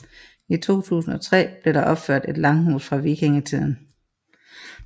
I 2003 blev der opført et langhus fra vikingetiden